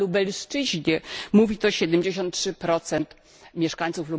Na Lubelszczyźnie mówi to 73 mieszkańców.